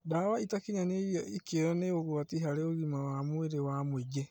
Ndawa itakinyanĩirie ikĩro nĩ ũgwati harĩ ũgima wa mwĩrĩ wa mũingĩ